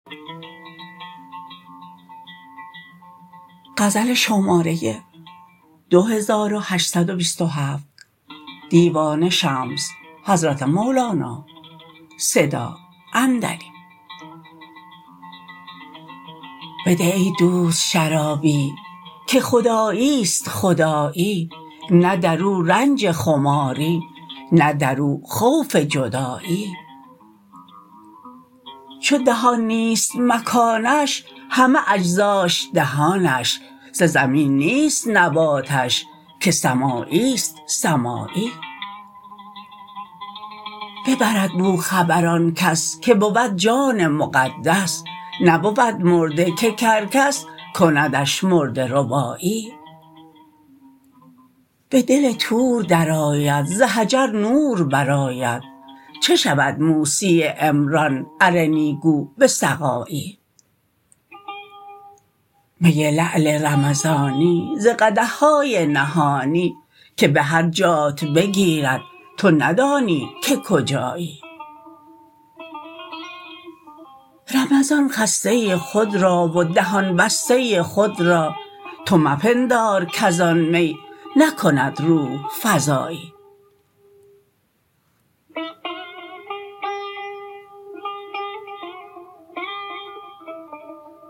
بده ای دوست شرابی که خدایی است خدایی نه در او رنج خماری نه در او خوف جدایی چو دهان نیست مکانش همه اجزاش دهانش ز زمین نیست نباتش که سمایی است سمایی ببرد بو خبر آن کس که بود جان مقدس نبود مرده که کرکس کندش مرده ربایی به دل طور درآید ز حجر نور برآید چو شود موسی عمران ارنی گو به سقایی می لعل رمضانی ز قدح های نهانی که به هر جات بگیرد تو ندانی که کجایی رمضان خسته خود را و دهان بسته خود را تو مپندار کز آن می نکند روح فزایی